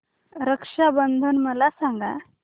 रक्षा बंधन मला सांगा